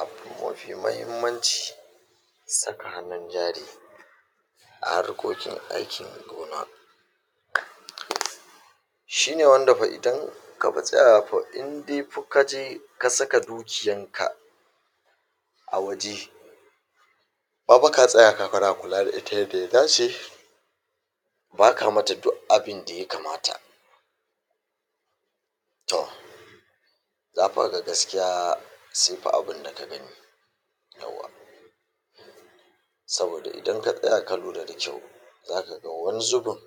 abu mafi mahimmanci saka hannun jari a harkokin aikin gona shine wanda fa idan kafa tsaya fa in dai fa kaje ka saka dukiyan ka a waje ba fa ka tsaya kana kula da ita yanda ya dace ba ka mata duk abinda ya kamata to za fa kaga gaskiya se fa abunda ka gani yauwa saboda idan ka tsaya ka lura da kyau za ka ga wani zubin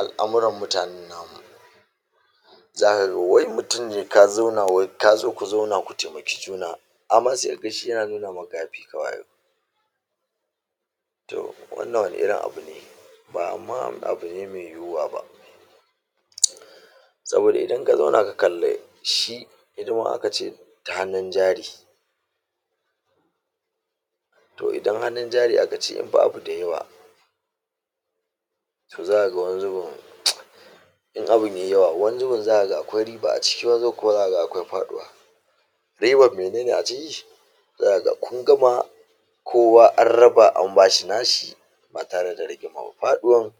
al'amuran mutanen namu zaka ga wai mutum ne ka zauna wai ka zo ku zauna ku temaki juna amma se kaga shi yana nuna maka ya fi ka wayo to wannan wane irin abu ne ba ma abu ne me yiwuwa ba saboda idan ka zauna ka kalle shi hidima aka ce ta hannun jari to idan hannun jari aka ce in ba abu da yawa to zaka ga wani zubin in abun yayi yawa wani zubin zaka ga akwai riba a ciki wani zubin kuma zaka ga akwai faɗuwa riban menene a ciki za ka ga kun gama kowa an raba an bashi nashi ba tare da rigima ba faɗuwan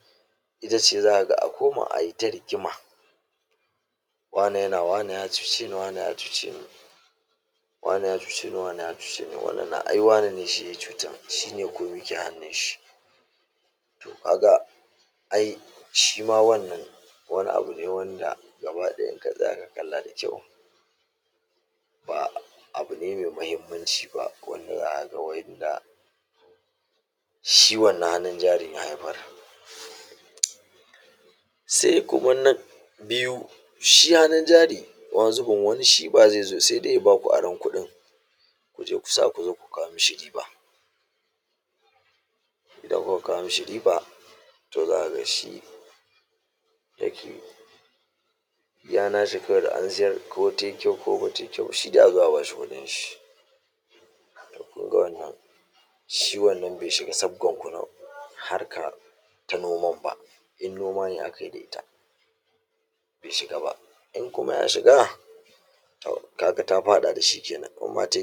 ita ce zaka ga a koma ayita rigima wane yana wane ya cuce ni wane ya cuce ni wane ya cuce ni wane ya cuce ni wannan na ai wane ne shi ya cutan shi ne komi ke hannun shi ka ga ai shima wannan wani abu ne wanda gaba ɗaya in ka tsaya ka kalla da kyau ba abu ne me mahimmanci ba wanda zaka ga wa inda shi wannan hannun jarin ya haifar se kuma na biyu shi hannun jari wani zubin shi ba ze zo se dai ya baku aron kuɗin kuje ku sa ku zo ku kawo mi shi riba idan kuka kawo mi shi riba to zaka ga shi yake iya na shi kawai da an siyar ko tayi kyau ko bata yi kyau ba shi dai a zo a bashi kuɗin shi kun ga wannan shi wannan be shiga sabgar ku na harkar ta noman ba in noma ne akayi da ita be shiga ba in kuma ya shiga to ka ga ta faɗa da shi kenan in ma tayi kyau